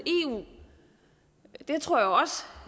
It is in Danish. eu tror